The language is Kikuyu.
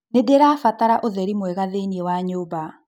Nĩndĩrabatara ũtheri mwega thĩiniĩ wa nyũmba